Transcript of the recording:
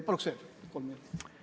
Paluks veel kolm minutit!